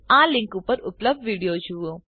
આ લીંક પર ઉપલબ્ધ વિડીયો જુઓ